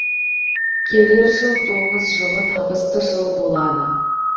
келер жыл доңыз жылы табысты жыл болады